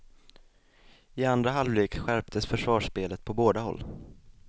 I andra halvlek skärptes försvarsspelet på båda håll.